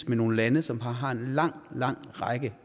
med nogle lande som har har en lang lang række